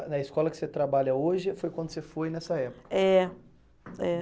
A escola que você trabalha hoje foi quando você foi nessa época? É, é